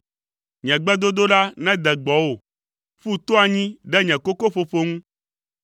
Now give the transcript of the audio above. Nye gbedodoɖa nede gbɔwò, ƒu to anyi ɖe nye kokoƒoƒo ŋu,